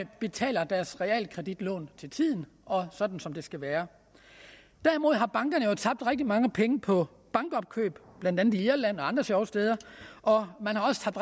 betaler deres realkreditlån til tiden og sådan som det skal være derimod har bankerne jo tabt rigtig mange penge på bankopkøb blandt andet i irland og andre sjove steder og man har også tabt